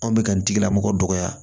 Anw bɛ ka nin tigilamɔgɔ dɔgɔya